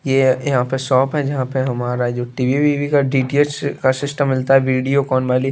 ये यहाँ पे शॉप है जहाँ पे हमारा जो टी_वी विवि का डी_टी_एच का सिस्टम मिलता है वीडियोकॉन वाली --